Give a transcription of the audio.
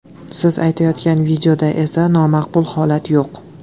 Siz aytayotgan videoda esa nomaqbul holat yo‘q.